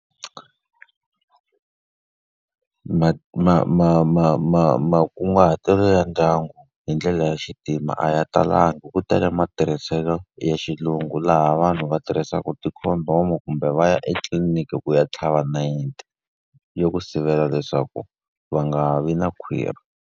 Makunguhatelo ya ndyangu hi ndlela ya xintima a ya talangi ku tele matirhiselo ya ya xilungu, laha vanhu va tirhisaka ti-condom-o kumbe va ya etliliniki ku ya tlhava nayiti ya ku sivela leswaku va nga vi na khwirhi.